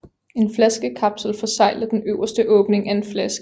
En flaskekapsel forsegler den øverste åbning af en flaske